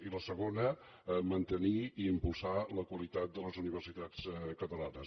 i la segona mantenir i impulsar la qualitat de les universitats catalanes